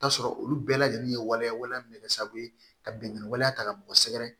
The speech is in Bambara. T'a sɔrɔ olu bɛɛ lajɛlen ye waleya waleya min bɛ kɛ sababu ye ka binkanni waleya ta ka bɔ sɛgɛrɛ